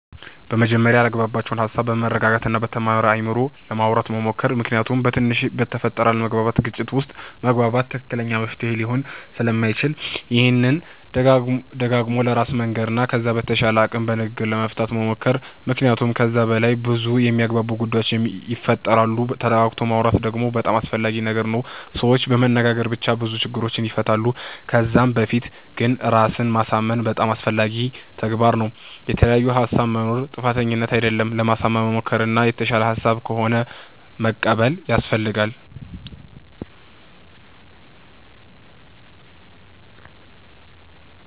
በመጀመርያ ያላግባባቸዉን ሃሳብ በመረጋጋት እና በተማረ አይምሮ ለማዉራት መሞከር ምክንያቱም በትንሽ በተፈጠረ አለመግባባት ግጭት ዉስጥ መግባት ትክክለኛ መፍትሄ ሊሆን ስለማይችል ይሄንን ደጋግሞ ለራስ መንገር ከዛ በተቻለ አቅም በንግግር ለመፍታት መሞከር መክንያቱመ ከዛ በላይ በዙ የሚያግባቡ ጉዳዮች ይፈጠራሉ ተረጋግቶ ማወራት ደግሞ በጣም አስፈላጊ ነገር ነዉ ሰዎች በመነጋገር ብቻ ብዙ ችግሮችን ይፈታሉ ከዛ በፊት ግን ራስን ማሳምን በጣም አስፈላጊ ተግባር ነዉ። የተለያየ ሃሳብ መኖር ጥፋተኝነት አደለም ለማሳመን መሞከር እና የተሻለ ሃሳብ ከሆነ መቀበል ያሰፈልጋል